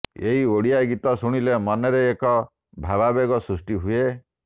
ଏହି ଓଡ଼ିଆ ଗୀତ ଶୁଣିଲେ ମନରେ ଏକ ଭାବାବେଗ ସୃଷ୍ଟି ହୁଏ